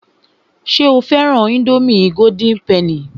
Ṣé o fẹ́ran ińdómì golden penny?